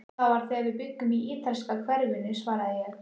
Það var þegar við bjuggum í ítalska hverfinu svaraði ég.